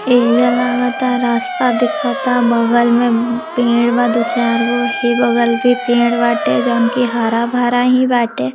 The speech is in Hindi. एरिया लग रहा है रास्ता दिख रहा है बगल में दो-चार पेड़ है बगल में हरा-भरा पेड़ है |